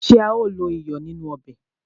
Ṣé a ó lo iyọ̀ nínú ọbè?